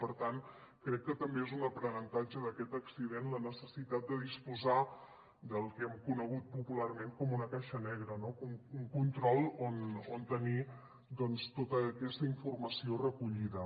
per tant crec que també és un aprenentatge d’aquest accident la necessitat de disposar del que hem conegut popularment com una caixa negra un control on tenir tota aquesta informació recollida